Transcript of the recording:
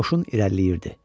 Qoşun irəliləyirdi.